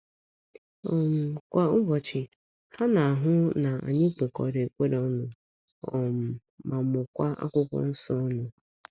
um Kwa ụbọchị, ha na - ahụ na anyị kpekọrọ ekpere ọnụ um ma mụkọọ akwụkwọ nso ọnụ.